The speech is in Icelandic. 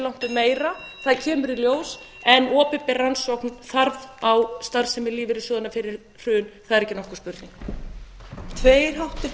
langtum meira það kemur í ljós en opinbera rannsókn þarf á starfsemi lífeyrissjóðanna fyrir hrun það er ekki nokkur spurning